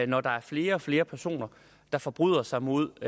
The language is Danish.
når der er flere og flere personer der forbryder sig mod